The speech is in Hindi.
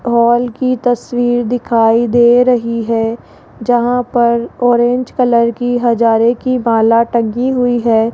हॉल की तस्वीर दिखाई दे रही है जहां पर ऑरेंज कलर की हजारे की माला टंगी हुई है।